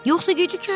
Yoxsa gecikərik.